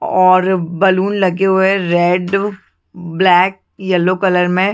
और बलून लगे हुए है रेड ब्लैक येलो कलर में--